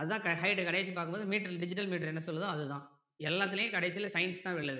அது தான் height கடைசில பார்க்கும்போது meter ல digital meter என்ன சொல்லுதோ அது தான் எல்லாத்துலையும் கடைசில science தான் வெல்லுது.